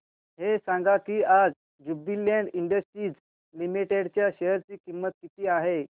हे सांगा की आज ज्युबीलेंट इंडस्ट्रीज लिमिटेड च्या शेअर ची किंमत किती आहे